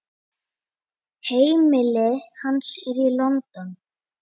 Heimili hans er í London.